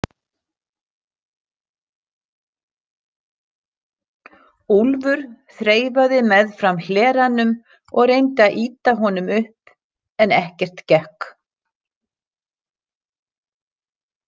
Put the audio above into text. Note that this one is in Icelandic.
Úlfur þreifaði meðfram hleranum og reyndi að ýta honum upp en ekkert gekk.